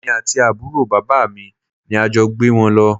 Èmi àti àbúrò bàbá mi ni a jọ gbé wọn lọ